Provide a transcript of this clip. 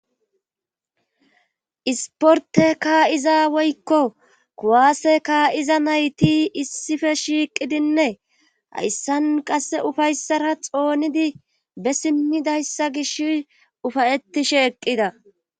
Isporte ka7iza woykko kuwaase kaa7iza nayti issife shiiqidinne hayssan qasse ufayssara xoonidi be simmidayssa gish ufayettishe eqqida